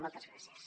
moltes gràcies